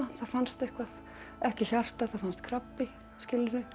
fannst eitthvað ekki hjartað það fannst krabbi skilurðu